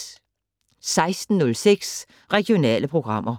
16:06: Regionale programmer